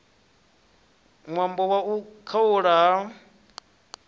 ṅwambo wa u khaulwa ha